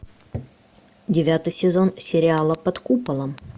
девятый сезон сериала под куполом